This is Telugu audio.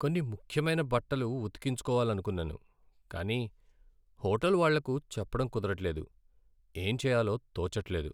కొన్ని ముఖ్యమైన బట్టలు ఉతికించుకోవాలనుకున్నాను కానీ హోటల్ వాళ్ళకు చెప్పటం కుదరట్లేదు, ఏం చేయాలో తోచట్లేదు.